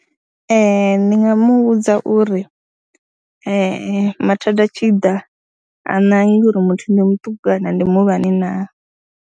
Ee, ndi nga mu vhudza uri mathada a tshi ḓa, ha ṋangi uri muthu ndi muṱuku ndi muhulwane naa.